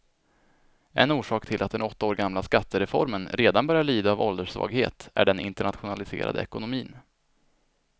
En orsak till att den åtta år gamla skattereformen redan börjar lida av ålderssvaghet är den internationaliserade ekonomin.